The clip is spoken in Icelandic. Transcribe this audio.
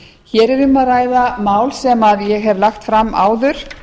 hér er um að ræða mál sem ég hef lagt fram áður